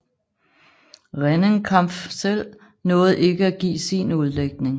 Rennenkampf selv nåede ikke at give sin udlægning